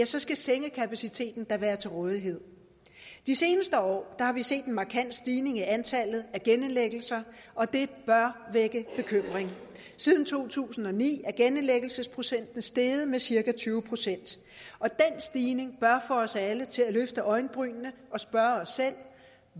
så skal sengekapaciteten da være til rådighed de seneste år har vi set en markant stigning i antallet af genindlæggelser og det bør vække bekymring siden to tusind og ni er genindlæggelsesprocenten steget med cirka tyve og den stigning bør få os alle til at løfte øjenbrynene og spørge os selv